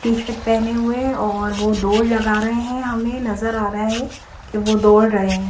T shirt पहनी हुए है और वो दौड़ लगा रहे है हमे नज़र आरहा है की वो दौड़ लगा रहा है।